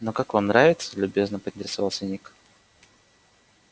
ну как вам нравится любезно поинтересовался ник